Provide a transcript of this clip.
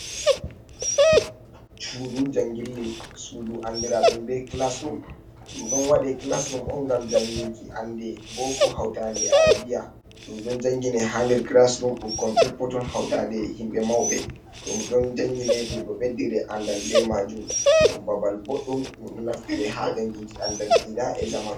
Suudu jangille, suudu andiradum be classrum. Ɗum ɗon wadi classrum on ngam janginki ande boko hautande arabia. Ɗum ɗon jangine ha nder classrum ɓukkon peppoton hautande himɓe mauɓe. Ɗum ɗon jangine, ɗum ɗo ɓeddire andal ɓe majum. Ɗum babal boɗɗum, ɗum ɗo naftire ha janginki andal diina e zamanu.